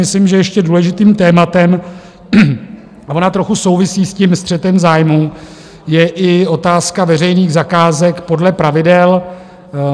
Myslím, že ještě důležitým tématem, a ono trochu souvisí s tím střetem zájmů, je i otázka veřejných zakázek podle pravidel.